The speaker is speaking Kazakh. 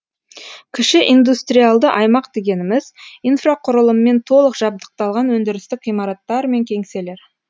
кіші индустриалды аймақ дегеніміз инфрақұрылыммен толық жабдықталған өндірістік ғимараттар мен кеңселер